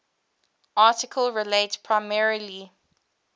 article relates primarily